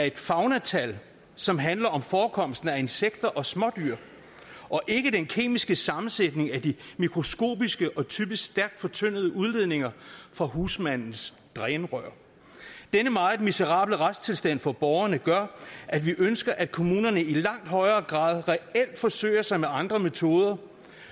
et faunatal som handler om forekomsten af insekter og smådyr og ikke den kemiske sammensætning af de mikroskopiske og typisk stærkt fortyndede udledninger fra husmandens drænrør denne meget miserable retstilstand for borgerne gør at vi ønsker at kommunerne i langt højere grad reelt forsøger sig med andre metoder